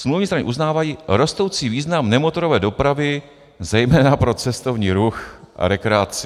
smluvní strany uznávají rostoucí význam nemotorové dopravy zejména pro cestovní ruch a rekreaci.